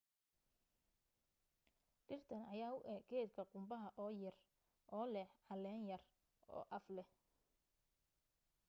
dhirtan ayaa u eg geedka qumbaha oo yer oo leh caleen yar oo af leh